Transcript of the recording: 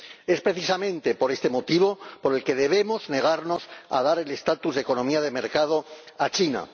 Es precisamente por este motivo por el que debemos negarnos a dar el estatus de economía de mercado a China.